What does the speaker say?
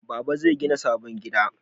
Baba zai gina sabon gida